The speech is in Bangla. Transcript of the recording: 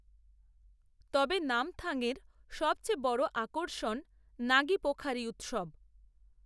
তবে নামথাংয়ের সবচেয়ে বড় আকর্ষণ নাগি পোখারি উৎসব